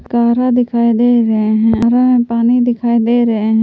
शहरा दिखाई दे रहे हैं हरा में पानी दिखाई दे रहे हैं।